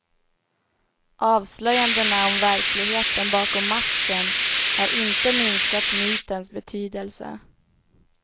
Avslöjandena om verkligheten bakom masken har inte minskat mytens betydelse.